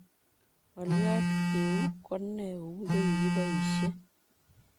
ng'oliot, keeu ko nee kou ye kikiboisie?